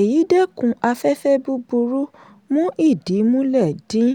èyí dẹ́kun afẹ́fẹ́ búburú mú ìdí mulẹ̀ dín